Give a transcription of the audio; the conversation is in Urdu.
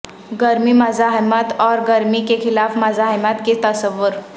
گرمی مزاحمت اور گرمی کے خلاف مزاحمت کے تصور